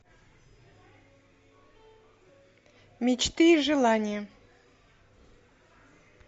мечты и желания